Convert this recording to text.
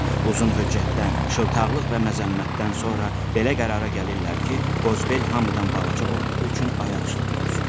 Uzun höccətdən, şıltaqlıq və məzəmmətdən sonra belə qərara gəlirlər ki, Qozbel hamıdan balaca olduğu üçün ayaq üstə dursun.